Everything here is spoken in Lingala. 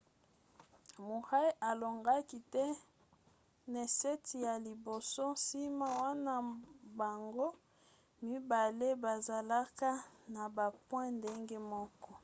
murray alongaki te ne set ya liboso nsima wana bango mibale bazalaka na ba point ndenge moko